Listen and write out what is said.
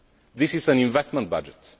times. This is an investment budget.